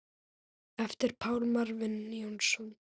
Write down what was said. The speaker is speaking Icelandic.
eftir Pál Marvin Jónsson